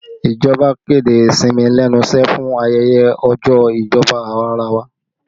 Ìjọba kéde ìsinmi lẹ́nu iṣẹ́ fún ayẹyẹ ọjọ́ ìjọba awarawa